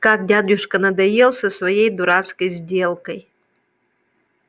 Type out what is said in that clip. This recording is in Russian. как дядюшка надоел со своей дурацкой сделкой